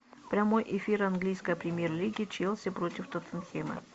прямой эфир английской премьер лиги челси против тоттенхэма